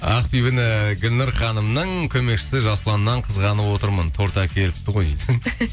ақбибіні гүлнұр ханымның көмекшісі жасұланнан қызғанып отырмын торт әкеліпті ғой дейді